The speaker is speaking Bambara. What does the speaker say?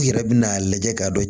U yɛrɛ bɛn'a lajɛ k'a dɔn